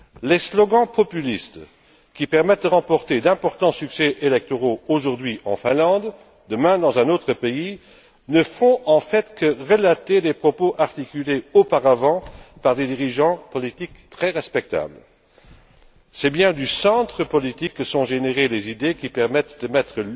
Les slogans populistes qui permettent de remporter d'importants succès électoraux, aujourd'hui en Finlande, demain dans un autre pays, ne font en fait que relater des propos articulés auparavant par des dirigeants politiques très respectables. C'est bien du centre politique que sont générées les idées qui permettent de mettre